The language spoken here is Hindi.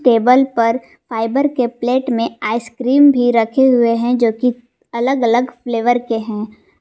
टेबल पर फाइबर के प्लेट में आइस क्रीम भी रखे हुए है जो कि अलग अलग फ्लेवर के हैं।